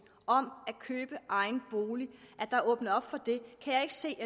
om at købe egen bolig kan jeg ikke se